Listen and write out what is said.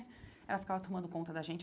Ela ficava tomando conta da gente.